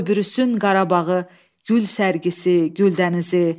Qoy bürüsün Qarabağı, gül sərgisi, gül dənizi.